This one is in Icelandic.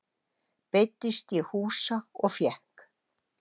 Beiddist ég húsa og fékk.